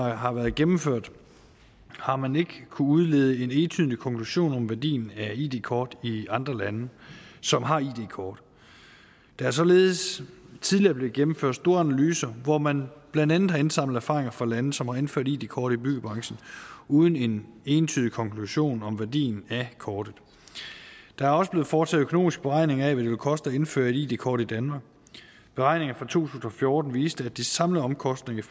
har været gennemført har man ikke kunnet udlede en entydig konklusion om værdien af id kort i andre lande som har id kort der er således tidligere blev gennemført store analyser hvor man blandt andet har indsamlet erfaringer fra lande som har indført id kort i byggebranchen uden en entydig konklusion om værdien af kortet der er også blevet foretaget økonomiske beregninger af hvad det vil koste at indføre et id kort i danmark beregninger fra to tusind og fjorten viste at de samlede omkostninger i